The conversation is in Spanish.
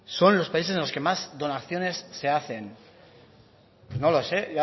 son los países en los que más donaciones se hacen no lo sé